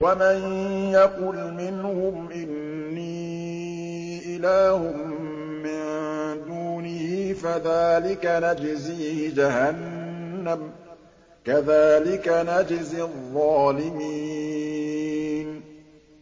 ۞ وَمَن يَقُلْ مِنْهُمْ إِنِّي إِلَٰهٌ مِّن دُونِهِ فَذَٰلِكَ نَجْزِيهِ جَهَنَّمَ ۚ كَذَٰلِكَ نَجْزِي الظَّالِمِينَ